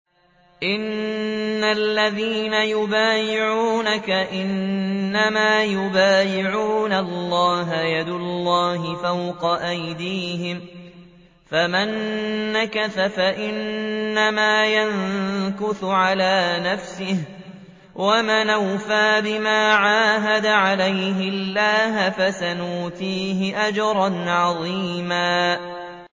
إِنَّ الَّذِينَ يُبَايِعُونَكَ إِنَّمَا يُبَايِعُونَ اللَّهَ يَدُ اللَّهِ فَوْقَ أَيْدِيهِمْ ۚ فَمَن نَّكَثَ فَإِنَّمَا يَنكُثُ عَلَىٰ نَفْسِهِ ۖ وَمَنْ أَوْفَىٰ بِمَا عَاهَدَ عَلَيْهُ اللَّهَ فَسَيُؤْتِيهِ أَجْرًا عَظِيمًا